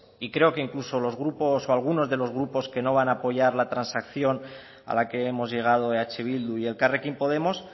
y creo que incluso algunos de los grupos que no van a apoyar la transacción a la que hemos llegado eh bildu y elkarrekin podemos